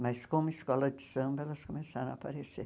Mas como escola de samba, elas começaram a aparecer.